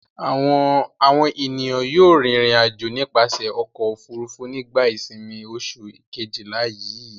Àwọn ènìyàn yóò rìnrìn-àjò nípasẹ̀ ọkọ̀-òfurufú nígbà ìsìnmi oṣù kejìlá yii.